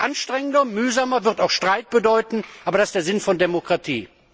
Das ist anstrengender, mühsamer, wird auch Streit bedeuten, aber das ist der Sinn von Demokratie!